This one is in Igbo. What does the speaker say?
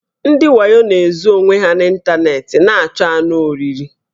Ndị wayo na-ezo onwe ha n' ịntanetị na-achọ anụ oriri